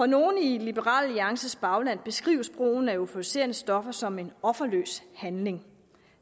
af nogle i liberal alliances bagland beskrives brugen af euforiserende stoffer som en offerløs handling